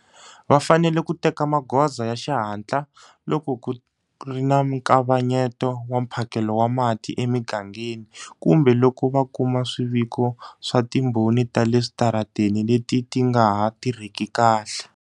Va fanele ku teka magoza ya xihatla loko ku ri na nkavanyeto wa mphakelo wa mati emigangeni kumbe loko va kuma swiviko swa timboni ta le switarateni leti ti nga ha tirhiki kahle.